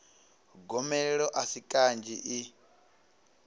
gomelelo a si kanzhi i